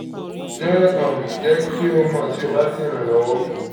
jẹ um ki jẹ ki n mọ ti mo ba le ṣe iranlọwọ fun